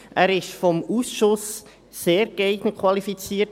Er wurde vom Ausschuss als sehr geeignet qualifiziert.